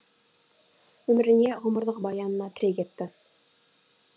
өміріне ғұмырлық баянына тірек етті